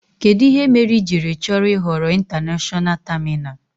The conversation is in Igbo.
Kedu ihe mere ị jiri chọrọ ị ghọrọ ịntanashọna tamina?